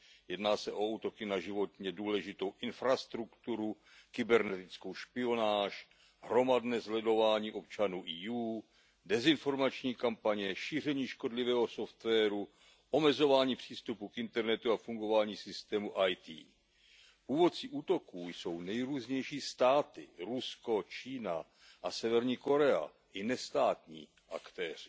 Jedná se o útoky na životně důležitou infrastrukturu, kybernetickou špionáž, hromadné sledování občanů EU, dezinformační kampaně, šíření škodlivého softwaru, omezování přístupu k internetu a fungování systému IT. Původci útoků jsou nejrůznější státy Rusko, Čína a Severní Korea a i nestátní aktéři.